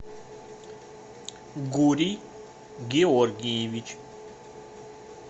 гурий георгиевич